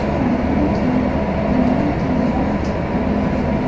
सामने एक लंबी सी बस दिख रही है।